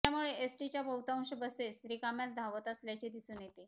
त्यामुळे एसटीच्या बहुतांश बसेस रिकाम्याच धावत असल्याचे दिसून येते